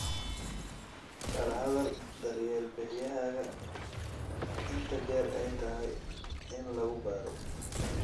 Kala hadal daryeel bixiyahaaga inta jeer ee ay tahay in lagu baaro.